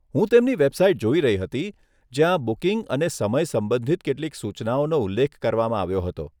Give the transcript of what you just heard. હું તેમની વેબસાઇટ જોઈ રહી હતી, જ્યાં બુકિંગ અને સમય સંબંધિત કેટલીક સૂચનાઓનો ઉલ્લેખ કરવામાં આવ્યો હતો.